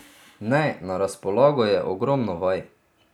Ne, na razpolago je ogromno vaj.